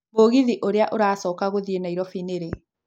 mũgithi ũrĩa ũracoka gũthiĩ nairobi nĩ rĩ